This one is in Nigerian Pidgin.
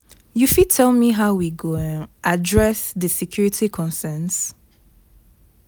You fit tell me how we go um address di security conerns?